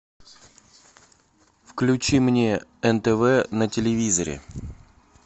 включи мне нтв на телевизоре